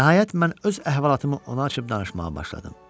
Nəhayət mən öz əhvalatımı ona açıb danışmağa başladım.